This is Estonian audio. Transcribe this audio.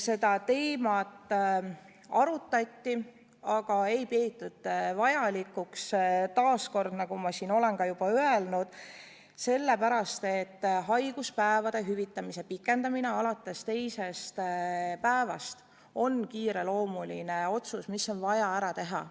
Seda teemat arutati, aga ei peetud vajalikuks, nagu ma siin olen juba öelnud, sellepärast, et haiguspäevade hüvitamise pikendamine alates teisest päevast on kiireloomuline otsus, mis on vaja ära teha.